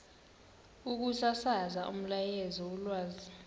ukusasaza umyalezo wolwazi